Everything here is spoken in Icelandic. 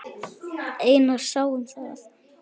Einar sá um það.